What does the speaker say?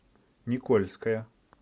никольская